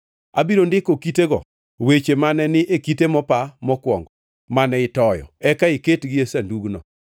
Abiro ndiko e kitego weche mane ni e kite mopa mokwongo mane itoyo, eka iketgi e sandugno.”